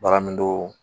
Bagandon